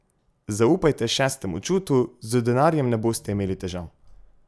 Zaupajte šestemu čutu, z denarjem ne boste imeli težav.